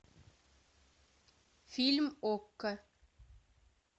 фильм окко